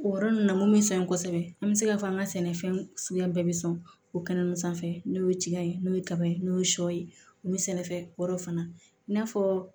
O yɔrɔ ninnu na mun bɛ san kosɛbɛ an bɛ se k'a fɔ an ka sɛnɛfɛn suguya bɛɛ bɛ sɔn o kɛnɛ ma sanfɛ n'o ye tiga ye n'o ye kaba ye n'o ye sɔ ye n'o bɛ sɛnɛfɛn wɔɔrɔ fana i n'a fɔ